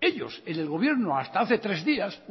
ellos en el gobierno hasta hace tres días